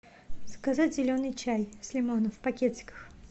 заказать зеленый чай с лимоном в пакетиках